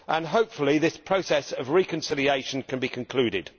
Hopefully this process of reconciliation can then be concluded.